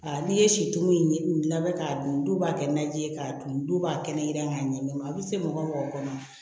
Aa n'i ye situlu in labɛn k'a dun dɔw b'a kɛ naji ye k'a dun b'a kɛnɛ k'a ɲɛ a bɛ se mɔgɔ mɔgɔ kɔnɔ